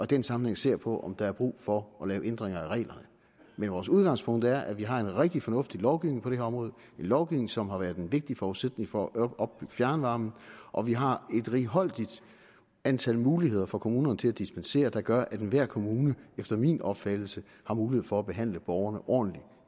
den sammenhæng ser på om der er brug for at lave ændringer af reglerne men vores udgangspunkt er at vi har en rigtig fornuftig lovgivning på det her område en lovgivning som har været en vigtig forudsætning for at opbygge fjernvarmen og at vi har et righoldigt antal muligheder for kommunerne til at dispensere der gør at enhver kommune efter min opfattelse har mulighed for at behandle borgerne ordentligt